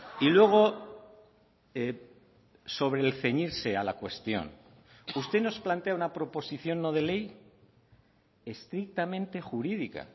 y luego sobre el ceñirse a la cuestión usted nos plantea una proposición no de ley estrictamente jurídica